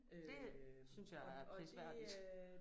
Det synes jeg er prisværdigt